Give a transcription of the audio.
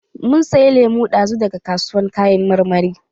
Mun saya lemu dazun daga kasuwar kayan marmari.